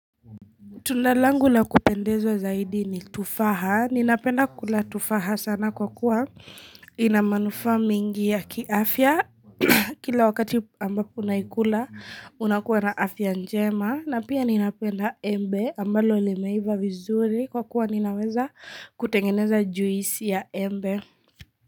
Tunda langu la kupendezwaa zaidi ni tufaha. Ninapenda kula tufaha sana kwa kuwa ina manufa mingi ya kiafya. Kila wakati ambapo unaikula, unakuwa na afya njema. Na pia ninapenda embe ambalo limeiva vizuri kwa kuwa ninaweza kutengeneza juisi ya embe.